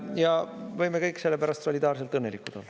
Ja võime kõik sellepärast solidaarselt õnnelikud olla.